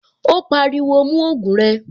Ó pariwo, "mú ògùn rẹ."